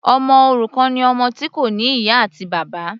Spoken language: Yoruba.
Ọmọ òrukàn ni ọmọ tí kò ní ìyá àti bàbá.